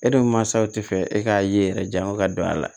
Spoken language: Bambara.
E dun mansaw tɛ fɛ e k'a ye yɛrɛ janya ka don a la